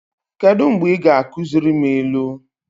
Kedụ mgbe ị ga-akuziri m ilu?